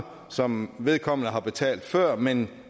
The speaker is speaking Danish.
som vedkommende har betalt før men